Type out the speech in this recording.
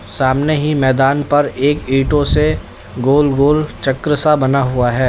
सामने ही मैदान पर एक ईंटों से गोल गोल चक्र सा बना हुआ है।